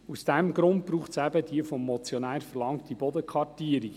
Aus diesem Grund braucht es die vom Motionär verlangte Bodenkartierung.